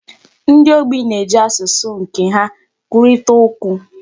Ndi ogbi na-eji asụsụ nke ha kwurịtaa okwu.